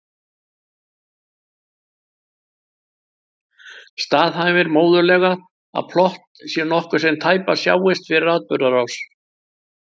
Staðhæfir móðurleg að plott sé nokkuð sem tæpast sjáist fyrir í atburðarás.